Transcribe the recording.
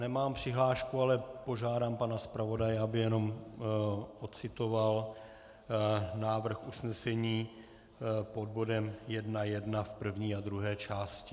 Nemám přihlášku, ale požádám pana zpravodaje, aby jen ocitoval návrh usnesení pod bodem 1.1 v první a druhé části.